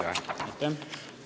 Ei ole.